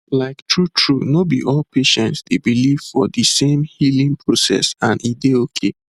like true true no be all patients dey believe for de same healing process and e dey okay